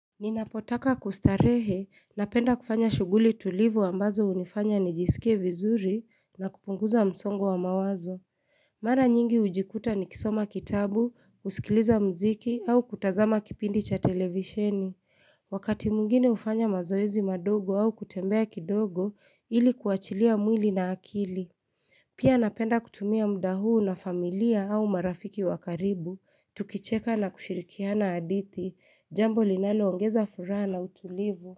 Ninapotaka kustarehe na penda kufanya shuguli tulivu ambazo unifanya nijisikie vizuri na kupunguza msongo wa mawazo. Mara nyingi ujikuta ni kisoma kitabu, usikiliza mziki au kutazama kipindi cha televisheni. Wakati mwingine ufanya mazoezi madogo au kutembea kidogo ili kuachilia mwili na akili. Pia napenda kutumia muda huu na familia au marafiki wakaribu, tukicheka na kushirikiana adithi, jambo linalo ongeza furaha na utulivu.